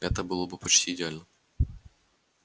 это было бы почти идеально